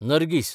Nargis